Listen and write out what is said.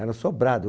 Era sobrado.